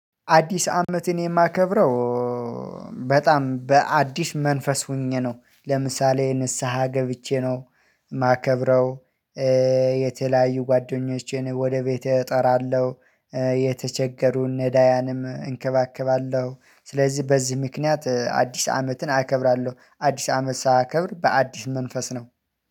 አዲስ አመትን የማከብረው በጣም በአዲስ መንፈስ ሆኜ ነው ለምሳሌ ንስሃ ገብቼ ነው የማከብረው የተለያዩ ጓደኞቼን ወደ ቤቴ እጠራለሁ፤ የተቸገሩን ነዳያንም እንከባከባለሁ። ስለዚህ በዚህ ምክንያት አዲስ አመትን አከብራለሁ፤ አዲስ አመት ሳያከብር በአዲስ መንፈስ ነው።